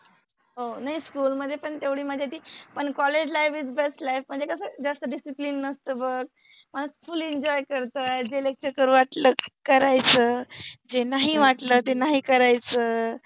हो, नाई, स्कुल मधे पन तेवढि मजा येते पन college life is best life म्हनजे कस जास्त डिसिप्लिन नसत बघ, म फुलि एंजोय करत्तात, जे लेक्चर करु वाटल ते करायचय जे नाहि वाटल ते नाहि करायच.